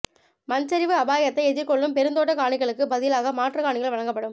மண்சரிவு அபாயத்தை எதிர்கொள்ளும் பெருந்தோட்டக் காணிகளுக்குப் பதிலாக மாற்றுக் காணிகள் வழங்கப்படும்